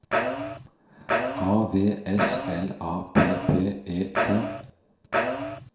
A V S L A P P E T